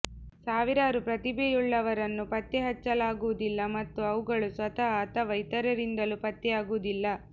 ಸಾವಿರಾರು ಪ್ರತಿಭೆಯುಳ್ಳವರನ್ನು ಪತ್ತೆಹಚ್ಚಲಾಗುವುದಿಲ್ಲ ಮತ್ತು ಅವುಗಳು ಸ್ವತಃ ಅಥವಾ ಇತರರಿಂದಲೂ ಪತ್ತೆಯಾಗುವುದಿಲ್ಲ